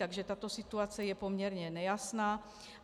Takže tato situace je poměrně nejasná.